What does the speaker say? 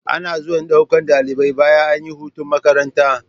Ana zuwa ɗaukan ɗalibai bayan ayi hutun makaranta